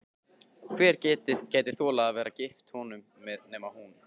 Hver gæti þolað að vera gift honum nema hún?